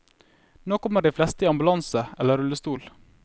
Nå kommer de fleste i ambulanse eller rullestol.